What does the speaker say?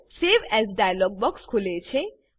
save as dialog box ખુલે છે